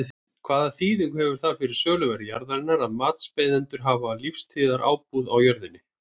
Hvaða þýðingu hefur það fyrir söluverð jarðarinnar að matsbeiðendur hafa lífstíðarábúð á jörðinni?